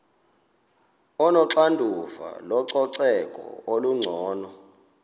onoxanduva lococeko olungcono